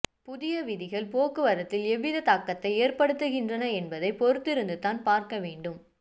புதிய விதிகள் போக்குவரத்தில் எவ்வித தாக்கத்தை ஏற்படுத்துகின்றன என்பதைப் பொறுத்திருந்துதான் பார்க்க வேண்டும்